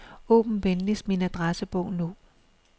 Åbn venligst min adressebog nu.